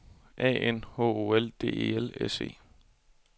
A N H O L D E L S E